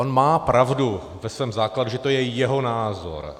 On má pravdu ve svém základu, že to je jeho názor.